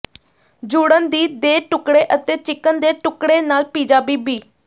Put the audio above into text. ਜੁੜਨ ਦੀ ਦੇ ਟੁਕੜੇ ਅਤੇ ਚਿਕਨ ਦੇ ਟੁਕੜੇ ਨਾਲ ਪੀਜ਼ਾ ਬੀਬੀ